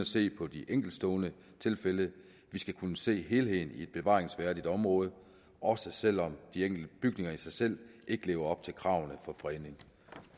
se på de enkeltstående tilfælde vi skal kunne se helheden i et bevaringsværdigt område også selv om de enkelte bygninger i sig selv ikke lever op til kravene for fredning